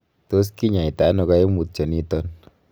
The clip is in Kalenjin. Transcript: Tos kinyaita ono koimutioniton?